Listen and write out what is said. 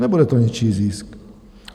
Nebude to něčí zisk.